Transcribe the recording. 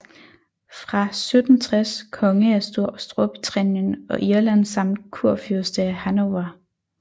Fra 1760 konge af Storbritannien og Irland samt kurfyrste af Hannover